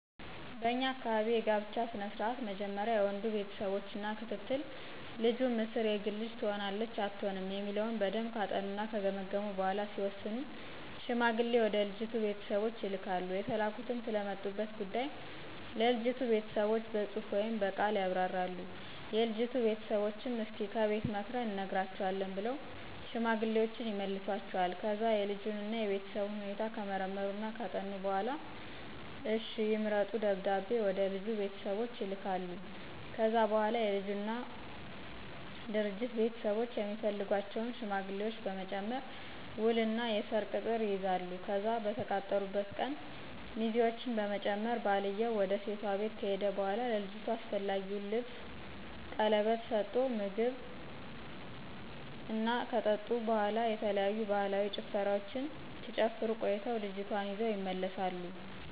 በኛ አካባቢ የጋብቻ ስነ ስርዓት መጀመሪያ የወንዱ ቤተሰቦች እና ክትትል ልጁም እስር የግል ልጅ ትሆነናለች አትሆንም የሚለውን በደምብ ካጠኑና ከገመገሙ በኋላ ሲወስኑ ሽማግሌ ወደ ልጅቱ ቤተሰቦች ይልካሉ የተላኩትም ስለመጡበት ጉዳይ ለልጅቱ ቤተሰቦች በጽሁፍ ወይም ብቅል ያብራራሉ፤ የልጅቱ ቤተሰቦችም እስከ ከቤት ምክርን እንነግራቹአለን ብለው ሽማግሌወችን ይመልሷቸዋል። ከዛ የልጁን እና የቤተሰቡን ሁኔታ ከመረመሩና ካጠኑ በኋላ እሽ ይምረጡ ደብዳቤ ወደልጁ ቤተሰቦች ይልካሉ። ከዛ በኋላ የልጁና ድርጅት ቤተሰቦች የሚፈልጓቸውን ሽማግሌዎች በመጨመር ውል እና የሰርግ ቅጥር ይይዛሉ፤ ከዛ በተቃጠሩበት ቀን ሚዜውችን በመጨመር ባልየው ውድ ሴቷ ቤት ከሄደ በኋላ ለልጅቷ አስፈላጊውን ልብስን ቀለበት ስቶ ምግብ ክብር እና ከጠጡ በኋላ የተለያዩ ባህላዊ ጭፈራወችን ሲጨፍሩ ቆይተው ልጅቷን ይዘው ይመለሳሉ።